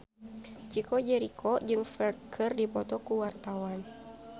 Chico Jericho jeung Ferdge keur dipoto ku wartawan